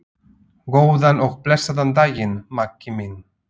Góðan og blessaðan daginn, Maggi minn.